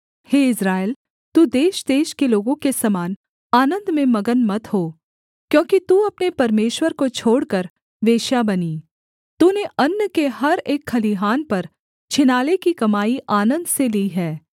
हे Israel तू देशदेश के लोगों के समान आनन्द में मगन मत हो क्योंकि तू अपने परमेश्वर को छोड़कर वेश्या बनी तूने अन्न के हर एक खलिहान पर छिनाले की कमाई आनन्द से ली है